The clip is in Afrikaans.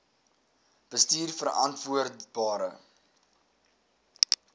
bestuurverantwoordbare